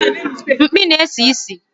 Mkpi na-esi ísì